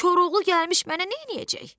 Koroğlu gəlmiş mənə neyləyəcək?